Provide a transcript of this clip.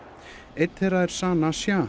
einn þeirra er Sana